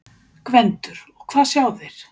GVENDUR: Og hvað sjá þeir?